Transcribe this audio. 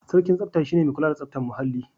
Sarkin tsafta shi ne mai kula da tsaftar muhalli.